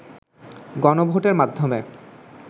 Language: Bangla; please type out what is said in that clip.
গনভোটের মাধ্যমে